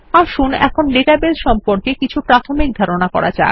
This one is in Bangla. আসুন এখন ডাটাবেস সম্পর্কে কিছু প্রাথমিক ধারণা করা যাক